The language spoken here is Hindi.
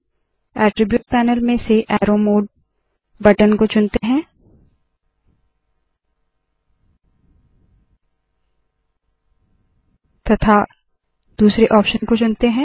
अट्रिब्यूट पैनल में से अरो मोडे बटन को चुनते है तथा दूसरे ऑप्शन को चुनते है